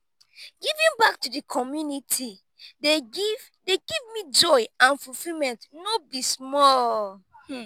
giving back to di community dey give give me joy and fulfillment no be small.